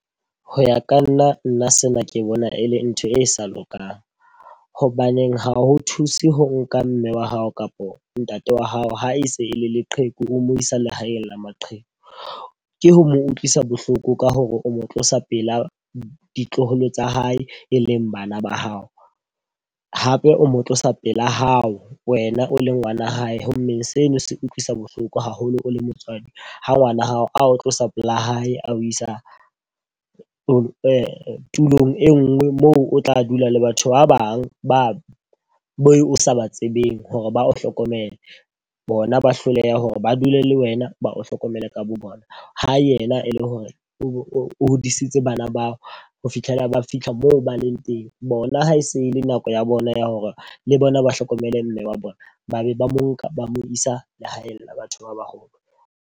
Ho ya ka nna, nna sena ke bona e le ntho e sa lokang. Hobaneng ha ho thuse ho nka mme wa hao kapo ntate wa hao ha e se e le leqheku, o mo isa lehaeng la maqheku. Ke ho mo utlwisa bohloko ka hore o mo tlosa pela ditloholo tsa hae, e leng bana ba hao, hape o mo tlosa pela hao wena o le ngwana hae. Ho mmeng seno se utlwisa bohloko haholo o le motswadi ha ngwana hao a o tlosa pela hae a ho isa o tulong e nngwe moo o tla dula le batho ba bang ba o sa ba tsebeng hore ba o hlokomele. Bona ba hloleha hore ba dule le wena, ba o hlokomele ka bo bona ho yena e le hore o hodisitse bana bao ho fitlhela ba fitlha moo ba leng teng. Bona ha e se le nako ya bona ya hore le bona ba hlokomele mme wa bona ba be ba mo nka ba mo isa lehaeng la batho ba baholo.